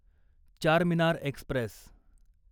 Charminar Express